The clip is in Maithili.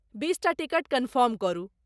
बीसटा टिकट कन्फर्म करू।